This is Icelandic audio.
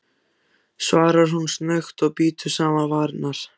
svarar hún snöggt og bítur saman varirnar.